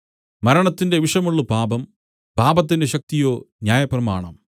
മരണത്തിന്റെ വിഷമുള്ള് പാപം പാപത്തിന്റെ ശക്തിയോ ന്യായപ്രമാണം